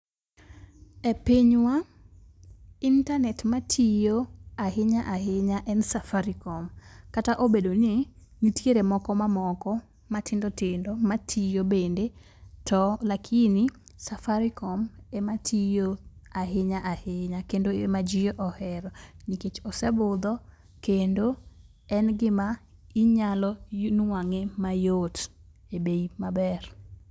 E pinywa intanet matiyo ahinya ahinya en Safaricom, kata obedo ni nitiere moko mamoko matindo tindo, matiyo bende, to lakini Safaricom ematiyo ahinya ahinya kendo ema ji ohero nikech ose budho kendo en gima inyalo nuang'e mayot ebei maber.